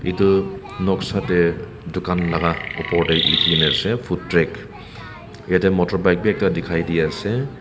etu noksa te dukan laga opor te lekhi kini ase food track jarte motor bike bhi ekta dekhi pai ase.